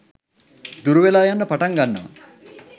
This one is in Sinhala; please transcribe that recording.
දුරු වෙලා යන්න පටන් ගන්නවා.